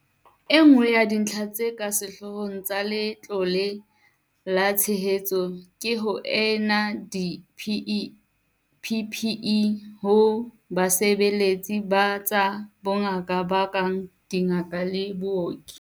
Enngwe ya dintlha tse ka sehloohong tsa Letlole la Tshehetsano ke ho neana di-PPE ho basebeletsi ba tsa bongaka ba kang dingaka le baoki.